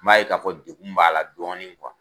N b'a ye k'a fɔ degun b'a la dɔɔnin kuwa.